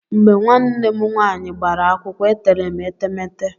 Mgbe nwaane m nwaanyị gbara akwụkwọ, e tere m etemete.